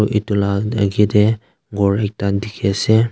edu la akae tae ghor ekta dikhiase.